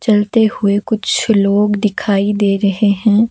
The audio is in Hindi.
चलते हुए कुछ लोग दिखाई दे रहे हैं।